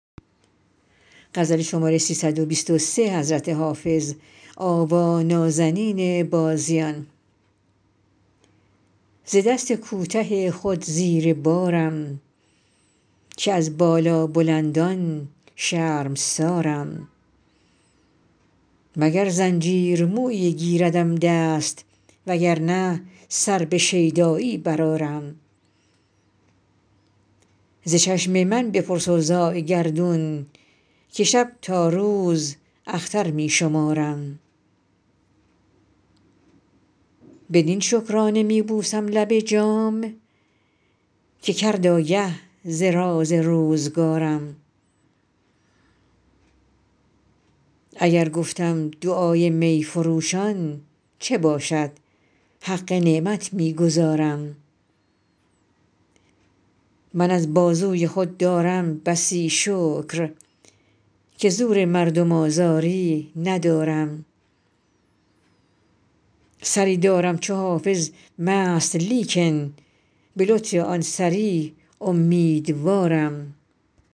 ز دست کوته خود زیر بارم که از بالابلندان شرمسارم مگر زنجیر مویی گیردم دست وگر نه سر به شیدایی برآرم ز چشم من بپرس اوضاع گردون که شب تا روز اختر می شمارم بدین شکرانه می بوسم لب جام که کرد آگه ز راز روزگارم اگر گفتم دعای می فروشان چه باشد حق نعمت می گزارم من از بازوی خود دارم بسی شکر که زور مردم آزاری ندارم سری دارم چو حافظ مست لیکن به لطف آن سری امیدوارم